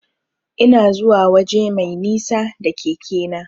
Ina zuwa waje mai nisa da keke na.